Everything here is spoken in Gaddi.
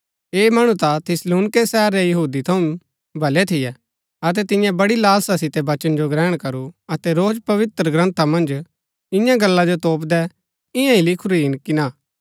ऐह मणु ता थिस्सलुनीके शहर रै यहूदी थऊँ भले थियै अतै तिन्ये बड़ी लालसा सितै वचना जो ग्रहण करू अतै रोज पवित्रग्रन्था मन्ज इन्या गल्ला जो तोपदै कि इन्या ही लिखुरी हिन कि ना